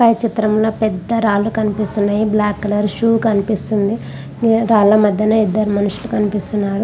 పై చిత్రం లో పెద్ద రాళ్లు కనిపిస్తున్నాయి. బ్లాక్ కలర్ షూ కనిపిస్తుంది. ఆ రాళ్ల మధ్యన ఇద్దరు మనుషులు కనిపిస్తున్నారు.